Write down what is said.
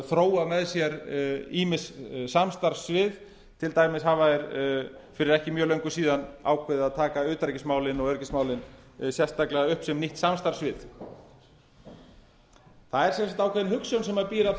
þróa með sér ýmis samstarfssvið til dæmis hafa þeir fyrir ekki mjög löngu síðan ákveðið að taka utanríkismálin og öryggismálin sérstaklega upp sem nýtt samstarfssvið það er sem sagt ákveðin hugsjón sem býr að